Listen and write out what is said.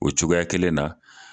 O cogoya kelen na